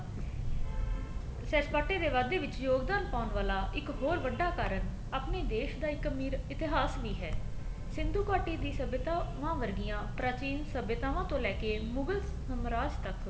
ਸੈਰ ਸਪਾਟੇ ਦੇ ਵਾਧੇ ਵਿੱਚ ਯੋਗਦਾਨ ਪਾਉਣ ਵਾਲਾ ਇੱਕ ਹੋਰ ਵੱਡਾ ਕਾਰਣ ਆਪਣੇ ਦੇਸ਼ ਦਾ ਇੱਕ ਅਮੀਰ ਇਤਿਹਾਸ ਵੀ ਹੈ ਸਿੰਧੂ ਘਾਟੀ ਦੀ ਸਭਿਆਤਾ ਉਹਨਾ ਵਰਗੀਆਂ ਪ੍ਰਾਚੀਨ ਸਭਿਅਤਾਵਾ ਤੋਂ ਲੈਕੇ ਮੁਗਲ ਸਾਮਰਾਜ ਤੱਕ